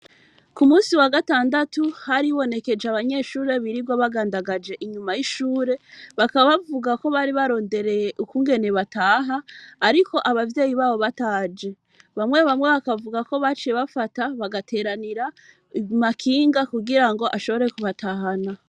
kumunsi wa gatandatu haribonekeje abanyeshure birigwa bagandagaje inyuma y,ishure bakaba bavuga ko bari barondereye ukungene bataha ariko abavyeyi babo bataje. bamwe bamwe bakavuga ko baciye bafata bagateranira amakinga kugira ngo ashobore kubatahana.